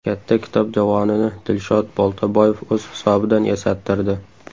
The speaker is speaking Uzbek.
Katta kitob javonini Dilshod Boltaboyev o‘z hisobidan yasattirdi.